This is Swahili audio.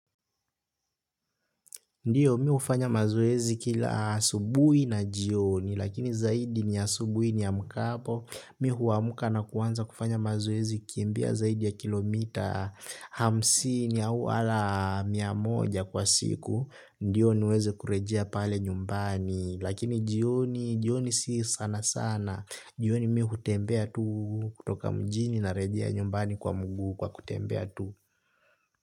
Ndiyo mimi hufanya mazoezi kila asubuhi na jioni lakini zaidi ni asubuhi niamkapo mimi huamka na kuanza kufanya mazoezi kimbia zaidi ya kilomita hamsini au ata mia moja kwa siku. Ndiyo niweze kurejea pale nyumbani lakini jioni jioni si sana sana jioni mimi hutembea tu kutoka mjini narejea nyumbani kwa miguu kwa kutembea tu.